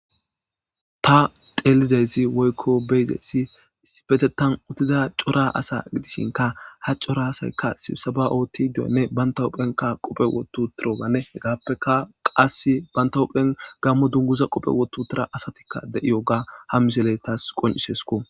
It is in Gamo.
ta telideysi woykko beyideysi sifetetan uttida cora asa gidisinka ha cora asaykka sibsaba ootti du7onne bantawuphenka qophe wottu tiroganne hegappeka qas bantahuphen gammo dunguza qophe wottu tira asatikka de7iyo ga ha mizele taas qoncisesko